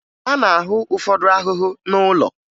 A na-ahụ ụfọdụ ahụhụ n'ụlọ